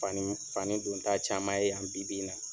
Fani fani donta caman ye yan bi bi in na.